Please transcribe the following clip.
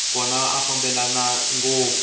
kona a ya fambelani ngopfu